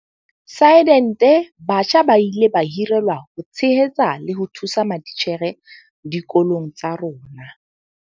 Sidente batjha ba ile ba hirelwa ho tshehetsa le ho thusa matitjhere dikolong tsa rona.